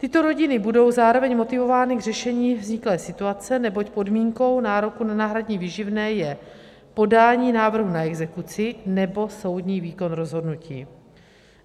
Tyto rodiny budou zároveň motivovány k řešení vzniklé situace, neboť podmínkou nároku na náhradní výživné je podání návrhu na exekuci nebo soudní výkon rozhodnutí.